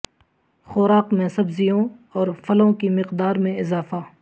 خوراک میں سبزیوں اور پھلوں کی مقدار میں اضافہ